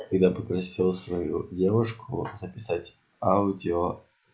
когда попросил свою девушку записать аудио